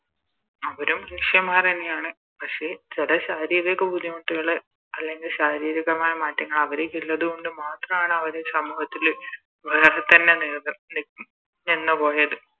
അവരും മനുഷ്യമ്മാരന്നെയാണ് പക്ഷെ ചില ശാരീരിക ബുദ്ധിമുട്ടുകള് അല്ലെങ്കില് ശാരീരികമായ മാറ്റങ്ങള് അവരിക്കിള്ളത് കൊണ്ട് മാത്രാണ് അവര് സമൂഹത്തില് വേറെ തന്നെ നില നിർ നി നിന്ന് പോയത്